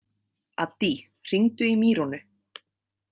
Addý, hringdu í Mýrúnu.